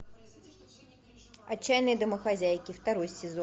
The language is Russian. отчаянные домохозяйки второй сезон